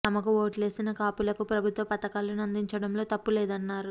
తమకు ఓట్లేసిన కాపులకు ప్రభుత్వ పథకా లను అందించడంలో తప్పు లేదన్నారు